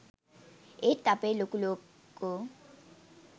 ඒත් අපේ ලොකු ලොක්කෝ